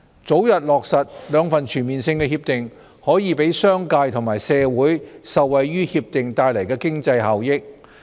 早日落實兩份全面性協定，可讓商界和社會受惠於協定帶來的經濟效益。